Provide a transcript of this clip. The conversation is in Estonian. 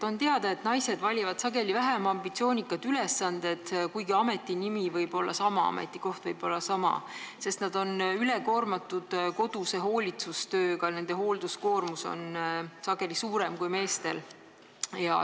On teada, et naised valivad sageli vähem ambitsioonikaid ülesandeid, kuigi ametinimi võib olla sama ja ametikoht võib olla sama, sest nad on üle koormatud koduse hooldustööga, nende hoolduskoormus on sageli suurem kui meestel.